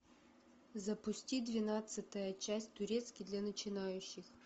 запусти двенадцатая часть турецкий для начинающих